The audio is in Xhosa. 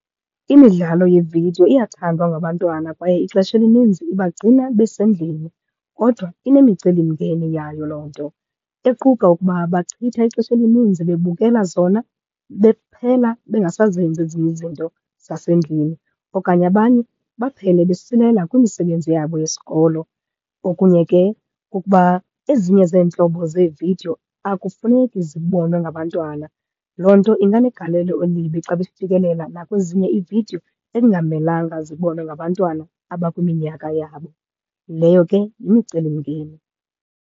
Imidlalo yeevidiyo iyathandwa ngabantwana kwaye ixesha elininzi ibagcina besendlini. Kodwa inemicelimngeni yayo loo nto equka ukuba bachitha ixesha elininzi bebukela zona, bephela bengasazenzi ezinye izinto zasendlini okanye abanye baphele besilela kwimisebenzi yabo yesikolo. Okunye ke kukuba ezinye zeentlobo zeevidiyo akufuneki zibonwe ngabantwana. Loo nto inganegalelo elibi xa befikelela nakwezinye iividiyo ekungamelanga zibonwe ngabantwana abakwiminyaka yabo. Leyo ke yimicelimngeni.